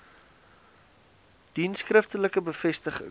dien skriftelike bevestiging